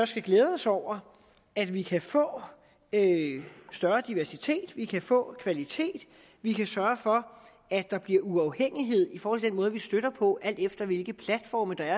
skal glæde os over at vi kan få større diversitet vi kan få kvalitet vi kan sørge for at der bliver uafhængighed i forhold til den måde vi støtter på alt efter hvilke platforme der